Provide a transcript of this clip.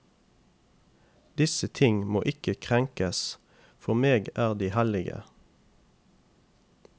Disse ting må ikke krenkes, for meg er de hellige.